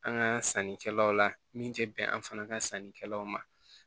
An ka sannikɛlaw la min tɛ bɛn an fana ka sannikɛlaw ma